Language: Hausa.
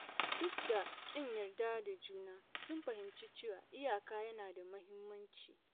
Duk da ƙin yarda da juna, sun fahimci cewa iyaka yana da muhimmanci.